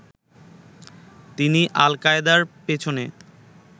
তিনি আল-কায়েদার পেছনে